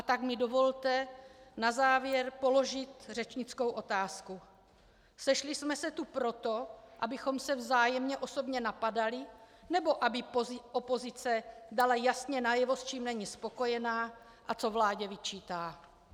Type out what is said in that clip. A tak mi dovolte na závěr položit řečnickou otázku: Sešli jsme se tu proto, abychom se vzájemně osobně napadali, nebo aby opozice dala jasně najevo, s čím není spokojená a co vládě vyčítá?